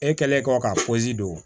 E kɛlen kɔ ka poze don